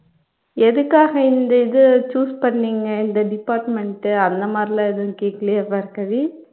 எதுக்காக இந்த இது choose பண்ணிங்க இந்த department அந்த மாதிரியெல்லாம் எதுவும் கேக்கலையா பார்கவி